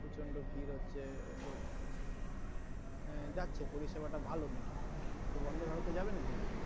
প্রচন্ড ভিড় হচ্ছে লোক মানে যাচ্ছে পরীসেবাটা ভালো নাকি তো Vande, Bharat এ যাবে নাকি